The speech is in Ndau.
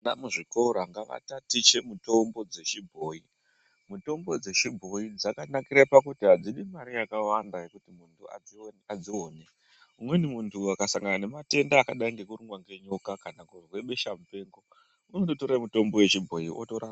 Muzvikora ngavatatiche mitombo dzechibhoyi. Mitombo dzechibhoyi yakanakira kuti yakawanda kuti muntu adzione. ukasangana nematenda akadai ngekurumwa nenyoka, kana kuzwe besha mupengo, unondotora mitombo yechibhoi kwakutorapa.